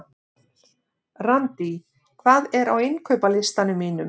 Randý, hvað er á innkaupalistanum mínum?